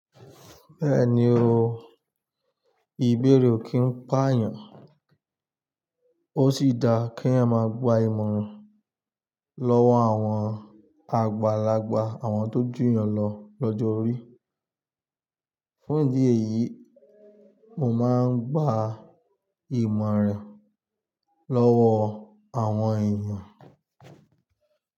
Bẹ́ẹ̀ni o, ìbéèrè o kì í pà yàn ó sì da kí èèyàn máa gba ìmọ̀ràn lọ́wọ́ àwọn àgbàlagbà àwọn tó jù yàn lọ lọ́jọ́ orí. Fún ìdí èyí, mo máa ń gba ìmọ̀ràn lọ́wọ́ àwọn èèyàn.